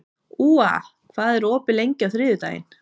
Úa, hvað er opið lengi á þriðjudaginn?